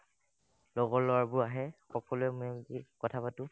লগৰ ল'ৰাবোৰ আহে সকলোৱে মেলিকি কথা পাতো